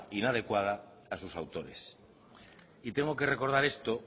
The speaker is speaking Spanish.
inadecuada a sus autores y tengo que recordar esto